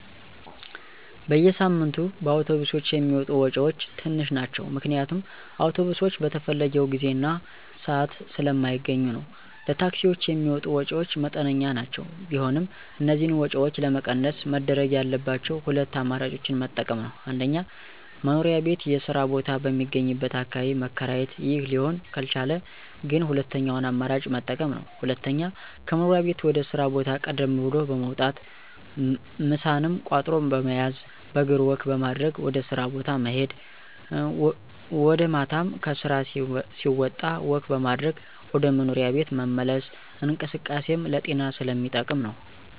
በየሳምንቱ በአውቶብሶች የሚወጡ ወጭወች ትንሽ ናቸው ምክንያቱም አውቶብሶች በተፈለገው ጊዜ እና ስአት ስለማገኙ ነዉ። ለታክሲወች የሚወጡ ወጭወች መጠነኛ ናቸው ቢሆንም እነዚህን ወጭወች ለመቀነስ መደረግ ያለባቸው ሁለት አማራጮችን መጠቀም ነወ። 1-መኖሪያ ቤት የስራ ቦታ በሚገኝበት አካባቢ መከራየት ይህ ሊሆን ካልቻለ ግን ሁለተኛውን አማራጭ መጠቀም ነው። 2-ከመኖሪያ ቤት ወደ ስራ ቦታ ቀደም ብሎ በመውጣት ምሳንም ቋጥሮ በመያዝ በእግር ወክ በማድረግ ወደ ስራ ቦታ መሄድ ወጀ ማታም ከስራ ሲወጣ ወክ በማድረግ ወደ መኖሪያ ቤት መመለስ እንቅስቃሴም ለጤና ስለሚጠቅም ነው።